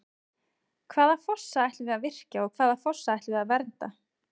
Hvaða fossa ætlum við að virkja og hvaða fossa ætlum við að vernda?